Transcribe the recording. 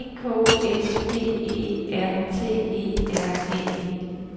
E K S P E R T E R N E